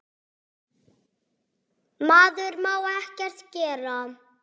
Maður má ekkert gera.